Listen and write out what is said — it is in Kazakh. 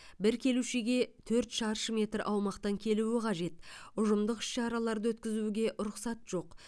бір келушіге төрт шаршы метр аумақтан келуі қажет ұжымдық іс шараларды өткізуге рұқсат жоқ